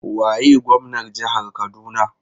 Waye gwamnar jihar Kaduna?